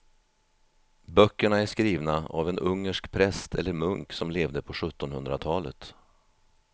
Böckerna är skrivna av en ungersk präst eller munk som levde på sjuttonhundratalet.